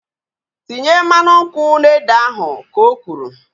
Tinye mmanụ nkwụ n'ede ahu! Ka o kwuru